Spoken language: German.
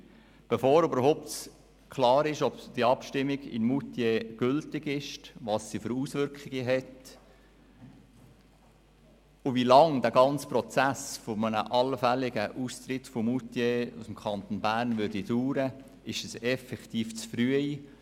Über diesen Anspruch zu diskutieren, bevor überhaupt klar ist, ob die Abstimmung in Moutier gültig ist, welche Auswirkungen sie hat und wie lange der ganze Prozess eines allfälligen Austritts von Moutier aus dem Kanton Bern dauern wird, ist effektiv zu früh.